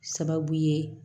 Sababu ye